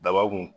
Daba kun